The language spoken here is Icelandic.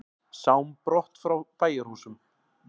Sám brott frá bæjarhúsum.